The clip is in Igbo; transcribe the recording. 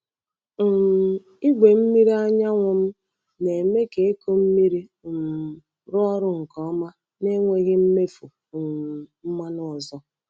um Igwe mmiri anyanwụ m na-eme ka ịkụ mmiri um rụọ ọrụ nke ọma na-enweghị mmefu um mmanụ ọzọ.